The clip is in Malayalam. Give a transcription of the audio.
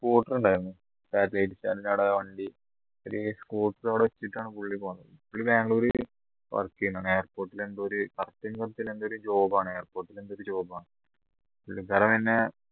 scooter ഉണ്ടായിരുന്നു satellite stand ന്റെ അവിടെ വണ്ടി ഒരു അവിടെ വെച്ചിട്ടാണ് പുള്ളി പോന്നത് പുള്ളി ബാംഗ്ലൂർ work ചെയ്യുന്നതാണ് airport ൽ എന്തോ ഒരു job ആണ് airport ൽ എന്തോ ഒരു job ആണ് പുള്ളിക്കാരൻ തന്നെ